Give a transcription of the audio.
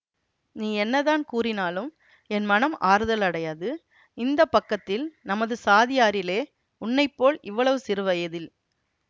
நீ என்னதான் கூறினாலும் என் மனம் ஆறுதல் அடையாது இந்த பக்கத்தில் நமது சாதியாரிலே உன்னை போல் இவ்வளவு சிறு வயதில்